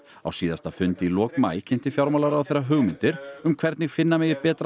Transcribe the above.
á síðasta fundi í lok maí kynnti fjármálaráðherra hugmyndir um hvernig finna megi betra